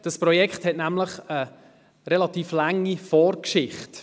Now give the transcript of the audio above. Dieses Projekt hat nämlich eine relativ lange Vorgeschichte.